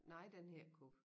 Nej den hed ikke Coop